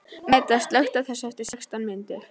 Meda, slökktu á þessu eftir sextán mínútur.